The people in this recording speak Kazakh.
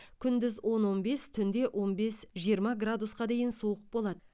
күндіз он онбес түнде он бес жиырма градусқа дейін суық болады